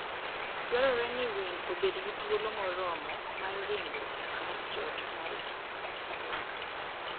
Dwarore ni winy obed gi thuolo moromo mar ringo ekar jot margi.